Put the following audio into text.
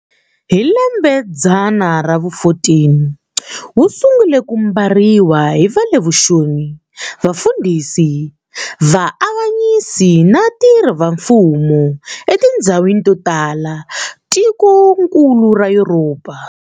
Hi lembedzana ra vu 14, wusungule ku mbariwa hi vale vuxoni, vafundhisi, Va-avanyisi na va tirhi va mfumo etindzhawini to tala tikonkulu ra Yuropa.